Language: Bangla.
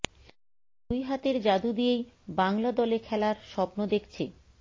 দুই হাতের জাদু দিয়েই বাংলা দলে খেলার স্বপ্ন দেখছে